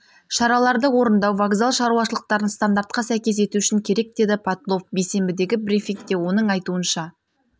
шараларды орындау вокзал шаруашылықтарын стандартқа сәйкес ету үшін керек деді потлов бейсенбідегі брифингте оның айтуынша